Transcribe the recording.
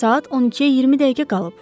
saat 12-yə 20 dəqiqə qalıb!